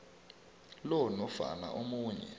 lo nofana omunye